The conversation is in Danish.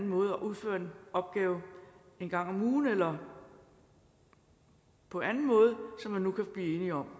måde og udføre en opgave en gang om ugen eller på anden måde som man nu kan blive enige om